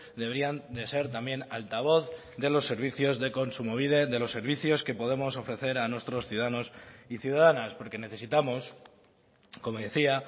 deberían de ser también altavoz de los servicios de kontsumobide de los servicios que podemos ofrecer a nuestros ciudadanos y ciudadanas porque necesitamos como decía